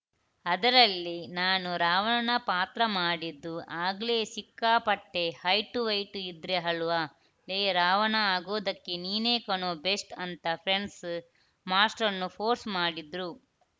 ಅದರಲ್ಲಿ ನಾನು ರಾವಣ ಪಾತ್ರ ಮಾಡಿದ್ದು ಆಗ್ಲೆ ಸಿಕ್ಕಾಪಟ್ಟೆಹೈಟು ವ್ಹೈಟು ಇದ್ದೆ ಅಲ್ವಾ ಲೇ ರಾವಣ ಆಗೋದಿಕ್ಕೆ ನೀನೇ ಕಣೋ ಬೆಸ್ಟ್‌ ಅಂತ ಫ್ರೆಂಡ್ಸು ಮಾಸ್ಟ್ರನ್ನು ಫೋರ್ಸ್‌ ಮಾಡಿದ್ರು